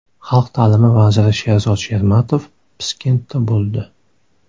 Xalq ta’limi vaziri Sherzod Shermatov Piskentda bo‘ldi.